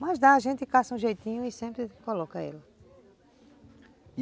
Mas dá, a gente caça um jeitinho e sempre coloca ela.